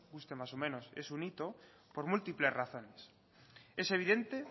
guste más o menos es un hito por múltiples razones es evidente